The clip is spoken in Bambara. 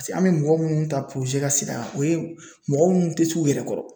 an bɛ mɔgɔ minnu ta ka sen yan o ye mɔgɔ minnu tɛ t'u yɛrɛ kɔrɔ